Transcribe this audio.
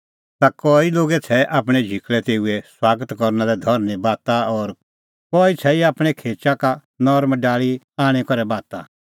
ता कई लोगै छ़ैऐ आपणैं झिकल़ै तेऊए सुआगत करना लै धरनीं बाता और कई छ़ैई आपणैं खेचा का नरम डाल़ी आणी करै बाता